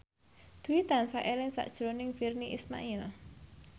Dwi tansah eling sakjroning Virnie Ismail